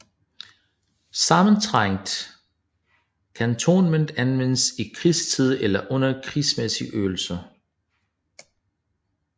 Sammentrængt kantonnement anvendes i krigstid eller under krigsmæssige øvelser